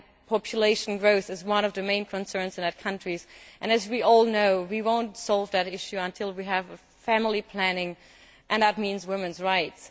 Population growth is one of the main concerns in those countries, and, as we all know, we will not solve that issue until we have family planning, and that means women's rights.